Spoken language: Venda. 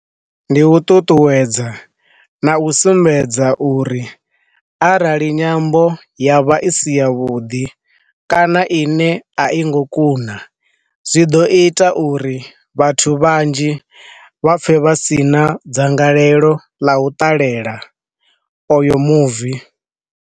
Ndi u ṱuṱuwedza, na u sumbedza uri arali nyambo ya vha i si ya vhuḓi kana i ne a i ngo kuna zwi ḓo ita uri vhathu vhanzhi vha pfe vha si na dzangalelo ḽa u ṱalela oyo muvi.